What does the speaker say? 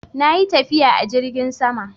Na yi tafiya a jirgin sama.